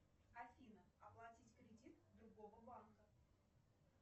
афина оплатить кредит другого банка